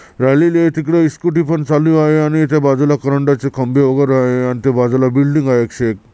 राहिलेले तिकडे स्कूटी पन चालू आहे आणि इथे बाजूला करंटाचे खांबे वगैरे आहे आणि ते बाजूला बिल्डिंग आहे एकशे एक.